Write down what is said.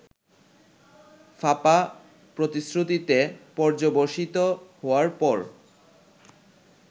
ফাঁপা প্রতিশ্রুতিতে পর্যবসিত হওয়ার পর